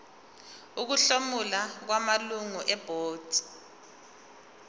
ukuhlomula kwamalungu ebhodi